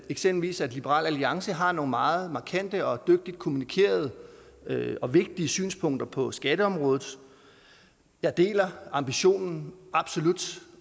eksempelvis liberal alliance har nogle meget markante og dygtigt kommunikerede og vigtige synspunkter på skatteområdet jeg deler ambitionen